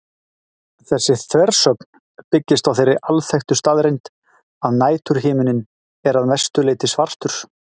Þessi þversögn byggist á þeirri alþekktu staðreynd að næturhiminninn er að mestu leyti svartur.